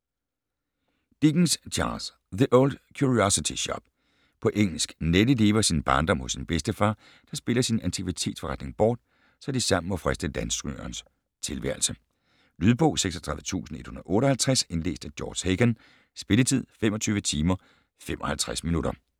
Dickens, Charles: The Old Curiosity Shop På engelsk. Nelly lever sin barndom hos sin bedstefar, der spiller sin antikvitetsforretning bort, så de sammen må friste landstrygernes tilværelse. Lydbog 36158 Indlæst af George Hagan Spilletid: 25 timer, 55 minutter